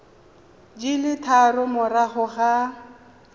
di le tharo morago ga